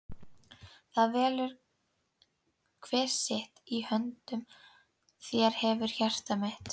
það velur hver sitt- í höndum þér hefurðu hjarta mitt.